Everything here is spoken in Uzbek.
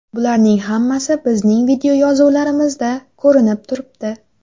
Bularning hammasi bizning videoyozuvlarimizda ko‘rinib turibdi.